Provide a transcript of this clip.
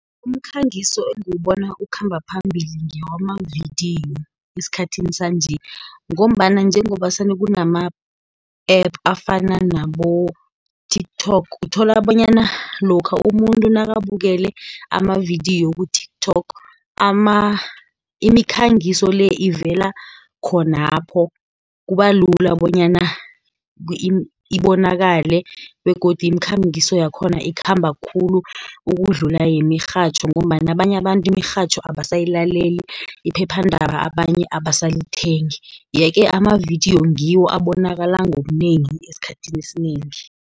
Umkhangiso engiwubona ukhamba phambili ngewamavidiyo esikhathini sanje, ngombana njengoba kunama-app afana nabo-TikTok. Uthola bonyana lokha umuntu nakabukela amavidiyo ku-TikTok imikhangiso le, ivela khonapho, kuba lula bonyana ibonakale, begodu imikhangiso yakhona ikhamba khulu ukudlula yemirhatjho, ngombana abanye abantu imirhatjho abasayilaleli, iphephandaba abanye abasalithengi. Ye-ke amavidiyo ngiwo abonakala ngobunengi esikhathini esinengi.